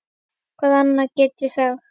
Hvað annað get ég sagt?